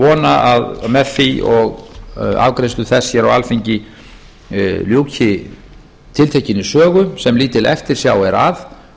vona að með því og afgreiðslu þess hér á alþingi ljúki tiltekinni sögu sem lítil eftirsjá að